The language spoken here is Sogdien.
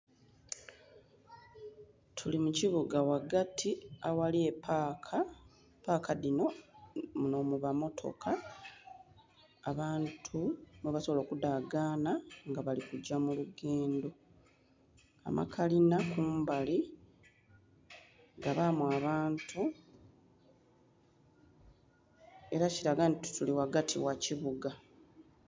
Tuli mukibuga ghagati aghali epaka, paka dhinho nho muba motoka abantu mwe basobola okudhagana nga bali kugya mu lugendho, amakalina kumbali gabamu abantu era kilaga nti tuli ghagati gha kibuga.